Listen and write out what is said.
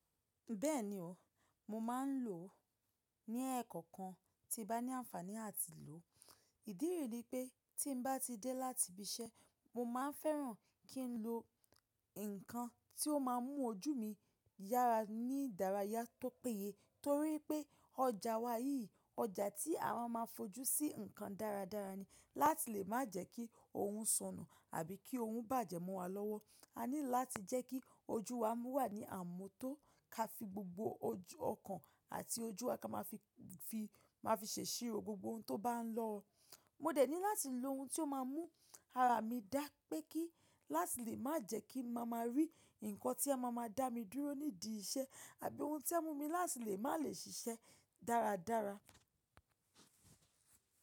Bẹ́ẹ̀ni o, mo máa ń lò ó ní ẹkan kan tí bá ní àǹfàní à ti lò ó. Ìdí rì ní pé tí n bá ti dẹ́ láti ibi iṣẹ́, mo máa ń fẹ́ràn kí n lo nǹkan tí ó máa mú ojú mí yára ní ìdárayá tó péye. Tórí pé ọjà wà yìí, ọjà tí a wa maa ń fojú sí nǹkan dáradára ni. Láti lè má jẹ́ kí ohun sọnù àbí kí ohun bàjẹ́ mo wa lọ́wọ́. A need láti jẹ́ kí ojú wa mú wà ní àmútó ká fi gbogbo ojú ọkàn àti ojú wa ka máa fi ṣe isìrò gbogbo ohun tó bá ń lọ. Mo dẹ̀ ní láti lo ohun tí ó máa mú ara mi dá pé kí láti lè má jẹ́ kí máa máa rí nǹkan tí a máa máa dá mi dúró nídìí iṣẹ́. Àbí ohun tí a mú mi láti lè má lè ṣiṣẹ́ dáradára.